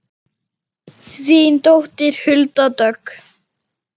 Þín dóttir Hulda Dögg.